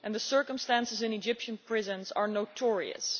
The circumstances in Egyptian prisons are notorious.